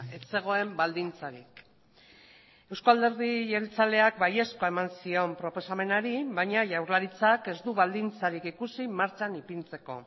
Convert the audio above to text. ez zegoen baldintzarik euzko alderdi jeltzaleak baiezkoa eman zion proposamenari baina jaurlaritzak ez du baldintzarik ikusi martxan ipintzeko